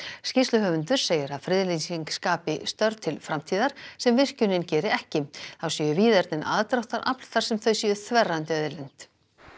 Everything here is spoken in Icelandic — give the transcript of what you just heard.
skýrsluhöfundur segir að friðlýsing skapi störf til framtíðar sem virkjunin geri ekki þá séu víðernin aðdráttarafl þar sem þau séu þverrandi auðlind